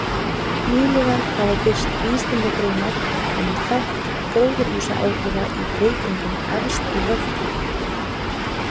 Nýlega hafa birst vísindagreinar um þátt gróðurhúsaáhrifa í breytingum efst í lofthjúpnum.